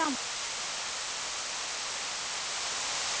Allir eiga rétt á því.